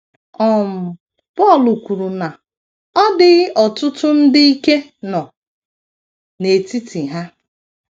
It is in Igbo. um Pọl kwuru na “ ọ dịghị ọtụtụ ndị ike ” nọ n’etiti ha.